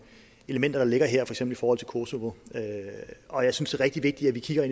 elementer der ligger her i forhold til kosovo og jeg synes det er rigtig vigtigt at vi kigger